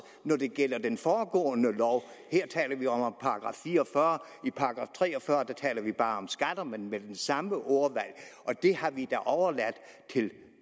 når det gælder den foregående lov her taler vi om § fire og fyrre i § tre og fyrre taler vi bare om skatter men med det samme ordvalg og det har vi da overladt til